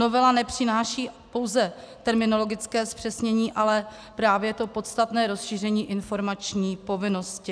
Novela nepřináší pouze terminologické zpřesnění, ale právě to podstatné rozšíření informační povinnosti.